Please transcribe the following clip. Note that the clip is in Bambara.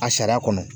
A sariya kɔnɔ